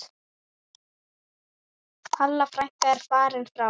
Halla frænka er fallin frá.